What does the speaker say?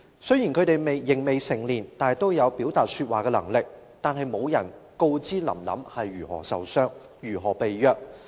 雖然他們仍未成年，但都有說話和表達的能力，卻沒有人說出"林林"是如何受傷、如何被虐。